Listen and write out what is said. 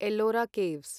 Ellora caves